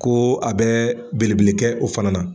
Ko a bɛ belebele kɛ o fana na.